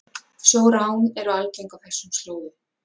Sjórán eru algeng á þessum slóðum